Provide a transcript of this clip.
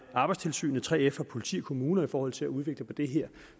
arbejdstilsynet 3f politi og kommuner i forhold til at udvikle på det her